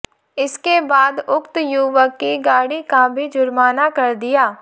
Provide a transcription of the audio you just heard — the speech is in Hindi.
इसके बाद उक्त युवक की गाड़ी का भी जुर्माना कर दिया